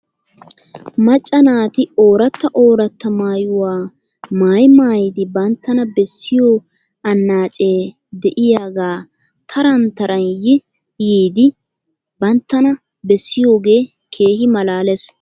Macca naati ooratta oratta maayuwaa maayi maayidi banttana bessiyoo anaacee de'iyaagaa taran taran yi yiidi banttana bessiyoogee keehi malaales .